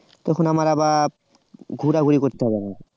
তখন আমার আবার ঘোরাঘুরি করতে হবে না